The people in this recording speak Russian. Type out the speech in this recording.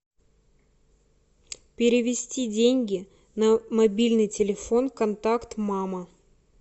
перевести деньги на мобильный телефон контакт мама